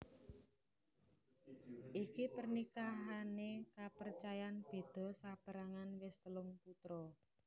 Iki pernikahané kapercayan beda saperangan wis telung putra